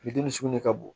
Furudimi sugu de ka bon